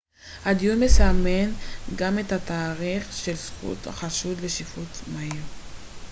הדיון מסמן גם את התאריך של זכות החשוד לשיפוט מהיר